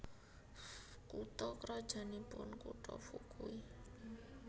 Kutha krajannipun kutha Fukui